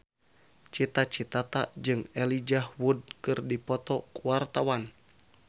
Cita Citata jeung Elijah Wood keur dipoto ku wartawan